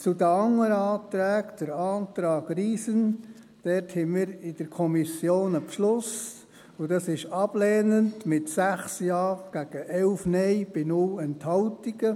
Zu den anderen Anträgen: Beim Antrag Riesen fassten wir in der Kommission einen Beschluss, und zwar ablehnend mit 6 Ja gegen 11 Nein bei 0 Enthaltungen.